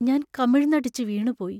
ഞാൻ കമിഴ്ന്നടിച്ചു വീണുപോയി.